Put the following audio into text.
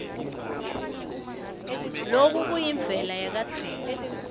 loku kuyimvelo yakadzeni